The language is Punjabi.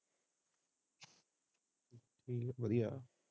ਠੀਕ ਹੈ ਵਧੀਆ।